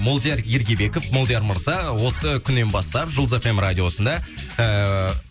молдияр ергебеков молдияр мырза осы күннен бастап жұлдыз эф эм радиосында ыыы